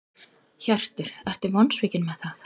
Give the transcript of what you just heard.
Hjörtur: Ertu vonsvikin með það?